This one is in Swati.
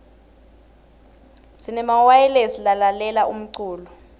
sinemawayilesi salalela umlulo